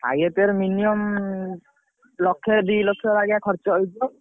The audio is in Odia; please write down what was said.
ଖାଇଆ ପିଆ ରେ minimum ଲକ୍ଷେ ଦି ଲକ୍ଷେ ବାଗିଆ ଖରଚ ହେଇଯିବ।